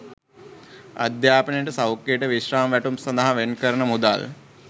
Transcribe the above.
අධ්‍යාපනයට සෞඛ්‍යයට විශ්‍රාම වැටුප් සඳහා වෙන් කරන මුදල්